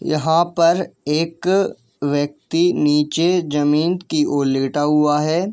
यहां पर एक व्‍यक्ति नीचे जमीन की ओर लेटा हुआ हैं।